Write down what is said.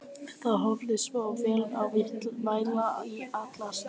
Þú hefðir sofið vel og værir í alla staði fyrirmyndar stúlka.